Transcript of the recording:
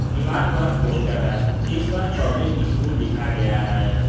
दीवार पर पोस्टर है जिस पर पब्लिक स्कूल लिखा गया है।